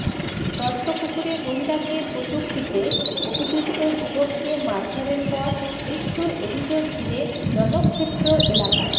দত্তপুকুরে মহিলাকে কটূক্তিতে অভিযুক্ত যুবককে মারধরের পর মৃত্যুর অভিযোগ ঘিরে রণক্ষেত্র এলাকায়